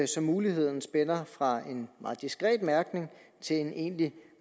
så muligheden spænder fra en meget diskret mærkning til en egentlig